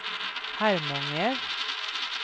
Harmånger